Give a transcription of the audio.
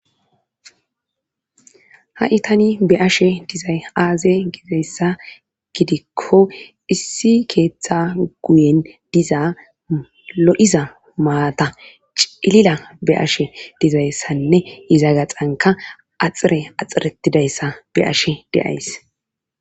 ha7i tani be7ashe dizay aaze gizeyssa gidikko issi keeththa guyen dizaa lo7iza maata cilila be7ashe dizayssanne iza gaxanka axire axiretidayssa be7ashe de7ays.